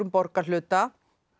borgarhluta